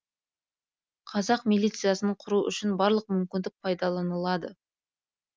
қазақ милициясын құру үшін барлық мүмкіндік пайдаланылады